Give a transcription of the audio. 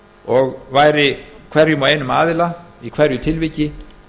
og væri hverjum og einum aðila í hverju tilviki